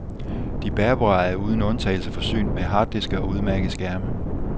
De bærbare er uden undtagelse forsynet med harddiske og udmærkede skærme.